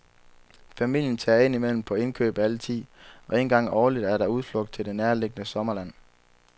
Familien tager ind imellem på indkøb alle ti, og en gang årligt er der udflugt til det nærliggende sommerland.